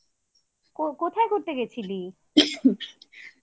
ও! কোথায় ঘুরতে গেছিলি?